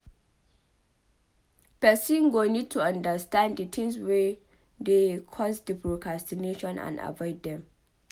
person go need to understand di tins wey dey cause di procrastination and avoid dem